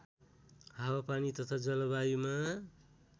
हावापानी तथा जलवायुमा